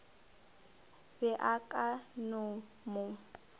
be a ka no mo